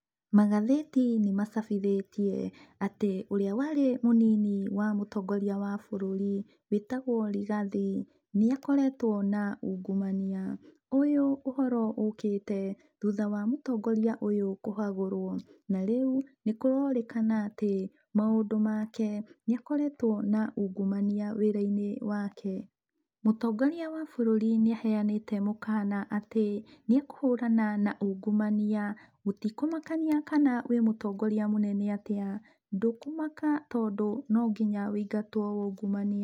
Magathĩti nĩmacabithĩtie atĩ ũrĩa warĩ mũnini wa mũtongoria wa bũrũri wĩtagwo Rigathi, nĩakoretwo na ungumania. Ũyũ ũhoro ũkĩte thutha wa mũtongoria ũyũ kũhagũrwo, narĩu nĩkũrorĩkana atĩ, maũndũ make nĩakoretwo na ungumania wĩra-inĩ wake. Mũtongoria wa bũrũri nĩaheanĩte mũkana atĩ nĩekũhũrana na ungumania, gũtikũmakania kana wĩ mũtongoria mũnene atĩa, ndũkũmaka tondũ no nginya wĩingatwo waungumania.